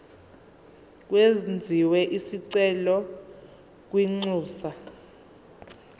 kwenziwe isicelo kwinxusa